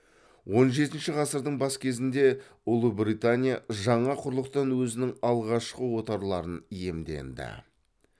он жетінші ғасырдың бас кезінде ұлыбритания жаңа құрлықтан өзінің алғашқы отарларын иемденді